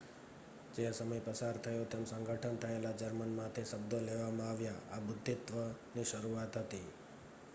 જેમ સમય પસાર થયો તેમ સંગઠન થયેલા જર્મનમાંથી શબ્દો લેવામાં આવ્યા આ બુદ્ધિત્વની શરૂઆત હતી